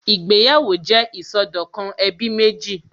Ìgbéyàwó jẹ́ ìsọdọ̀kan ẹbí méjì